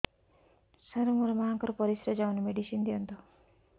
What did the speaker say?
ସାର ମୋର ମାଆଙ୍କର ପରିସ୍ରା ଯାଉନି ମେଡିସିନ ଦିଅନ୍ତୁ